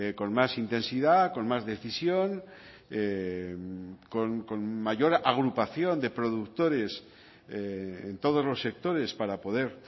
con más intensidad con más decisión con mayor agrupación de productores en todos los sectores para poder